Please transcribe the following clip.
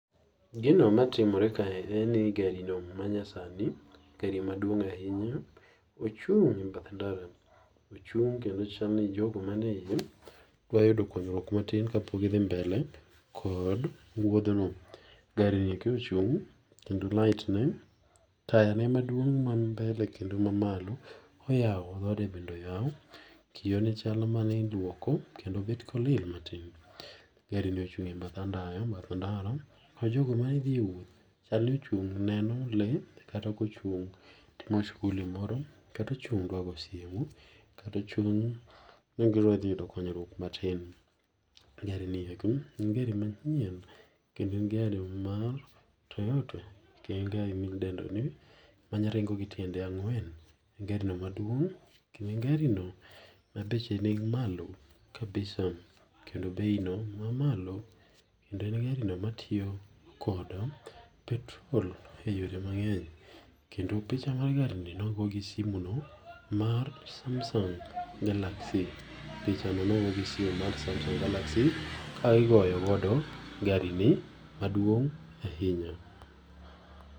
Gino matimore kae en ni gari no ma nyasani, gari maduong' ahinya, ochung' e bath ndara, ochung' kendo chal ni jogo manie iye, dwa yudo konyruok matin ka pok gidhi mbele kod wuodhno. Gari ni ka ochung' kendo light ne, taya ne maduong' man mbele koda mani malo oyao, dhode bende oyau. Kioo ne chal maneilwoko, kendo bet kolil matin. Gari ni inchung' e bath andaya, bath ndara, majogo mane dhie wuoth, chal ni ochung' neno lee, kata kochung' timo shughuli moro, kata ochung'dwa go simu, kata ochung ni gi dwa dhi yudo konyruok matin. Gari ni eki, en gari manyien, kendo en gari mar Toyota. Kendo en gari midendoni, manya ringo gi tiende ang'wen, en gari no maduong', kendo gari no ma beche ni malo kabisa, kendo bei no mamalo. Kendo en gari no matiyo kod petrol e yore mangény. Kendo picha mar gari ni nogo si simu no mar samsung galaxy, pichano nogo si simu no mar samsung galaxy, ka igoyo godo gari ni maduong' ahinya.